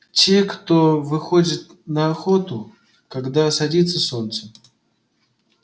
те кто выходит на охоту когда садится солнце